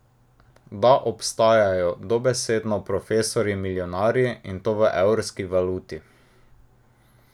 Da obstajajo dobesedno profesorji milijonarji, in to v evrski valuti!